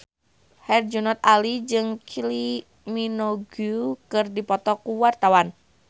Herjunot Ali jeung Kylie Minogue keur dipoto ku wartawan